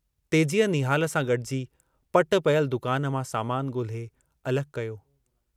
तेजीअ निहाल सां गॾिजी पटि पियल दुकान मां सामान ॻोल्हे अलॻि कयो।